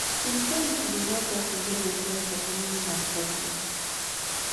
spirituality dey help person get a sense of meaning and purpose